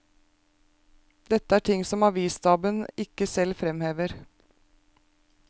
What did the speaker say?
Dette er ting som avisstaben ikke selv fremhever.